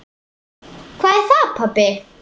Hvað er það, pabbi?